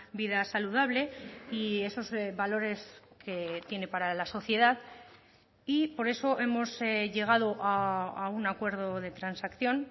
vida saludable y esos valores que tiene para la sociedad y por eso hemos llegado a un acuerdo de transacción